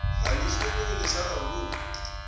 kghani isinghonghoyilo sararululwa